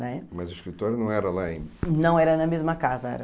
Né? Mas o escritório não era lá em... Não, era na mesma casa.